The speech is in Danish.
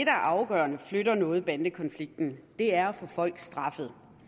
er afgørende og flytter noget ved bandekonflikten er at få folk straffet